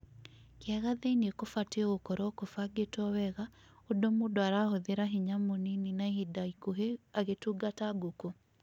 Kĩaga thĩinĩ kũbatiĩ gũkoragwo kũbangĩtwo wega ũndũ mũndũ arahũthĩra hinya mũnini na ihinda ikuhĩ agĩtungata ngũkũ.